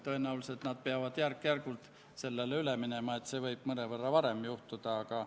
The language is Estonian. Tegelikult tahaks teada sisust ja vähem kuulda neid formaalseid korduvaid-korduvaid sõnu.